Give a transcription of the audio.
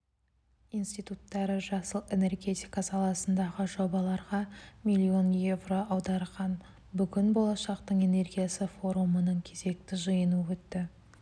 институттары жасыл энергетика саласындағы жобаларға миллион еуро аударған бүгін болашақтың энергиясы форумының кезекті жиыны өтті